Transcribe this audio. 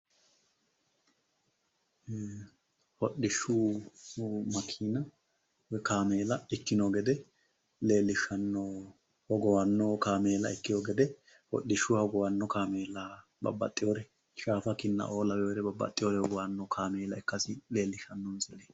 hodhishu makiina woyi kaameela ikkino gede leellishshanno hogowamino kaameela ikkino gede l hodhishannoha ikkino gede shaafa ikko kinna laweere babbaxeewore hogowannoha ikkasi leellishshanno.